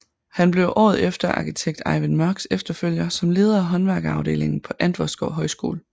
Han blev året efter arkitekt Ejvind Mørchs efterfølger som leder af håndværkerafdelingen på Antvorskov Højskole